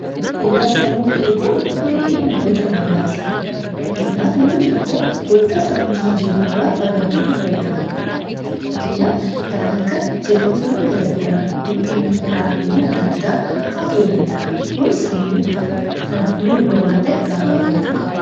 Fayyuu sammuu eeguun gahee namoota hundaati. Fakkeenyaaf namni tokko waanta sammuun isaa jeequ irraa fagaachuutu irraa eegama. Fakkeenyaaf kan akka jeequmsawwan gara garaa, dhiphina, aariiwwan adda addaa fa'a ta'uu danda'a. Kun sammuu ni huba waan ta'eef irraa fagaachuu qaba.